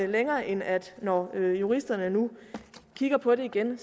længere end at når juristerne nu kigger på det igen